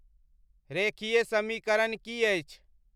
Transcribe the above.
रेखीय समीकरण की अछि